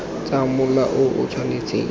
tsa mola o o tshwanang